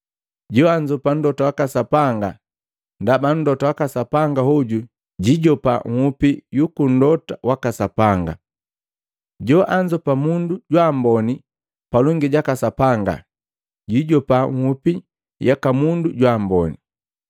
Joanzopa mlota waka Sapanga ndaba mlota waka Sapanga, hoju jijopa nhupi yuku mlota waka Sapanga. Joanzopa mundu jwa amboni palongi jaka Sapanga, jijopa nhupi yaka mundu jwa amboni.